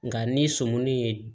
Nka ni sɔmi ye